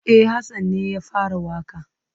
E, Hassan ne ya fara waƙa.